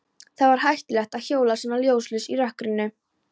Það var hættulegt að hjóla svona ljóslaus í rökkrinu.